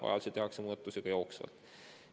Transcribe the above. Vajaduse korral tehakse muudatusi ka jooksvalt.